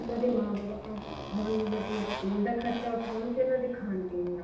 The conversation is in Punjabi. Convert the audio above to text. ਉਹਨਾ ਦੇ ਮਾਂ ਬਾਪ ਹੁਣ ਮਤਲਬ ਸਕੂਲ ਦਾ ਖਰਚਾ ਉਠਾਉਣ ਜਾਂ ਉਹਨਾ ਦੇ ਖਾਣ ਪੀਣ ਦਾ